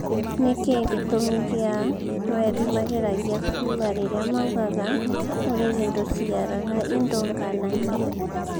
Nĩkĩĩ gĩtũmi gĩa thweri mageragia kuga rĩrĩa maugaga " ũrĩrĩ ndũciaraga indo ngananie"